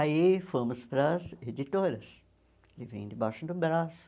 Aí fomos para as editoras, que vêm de baixo do braço.